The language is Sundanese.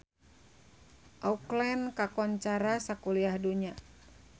Auckland kakoncara sakuliah dunya